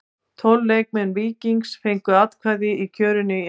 Tólf leikmenn Víkings fengu atkvæði í kjörinu í ár.